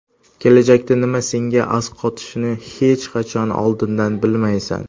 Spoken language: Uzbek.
Kelajakda nima senga asqotishini hech qachon oldindan bilmaysan.